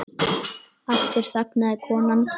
Aftur þagnaði konan.